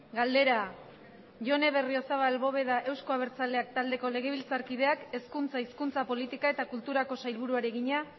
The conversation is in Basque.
galdera jone berriozabal bóveda euzko abertzaleak taldeko legebiltzarkideak hezkuntza hizkuntza politika eta kulturako sailburuari egina